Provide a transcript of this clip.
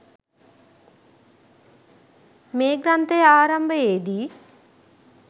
මේ ග්‍රන්ථය ආරම්භයේදී